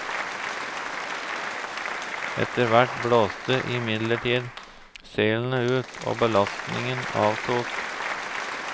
Etter hvert blåste imidlertid seilene ut og belastningene avtok.